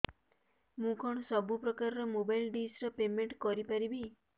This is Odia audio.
ମୁ କଣ ସବୁ ପ୍ରକାର ର ମୋବାଇଲ୍ ଡିସ୍ ର ପେମେଣ୍ଟ କରି ପାରିବି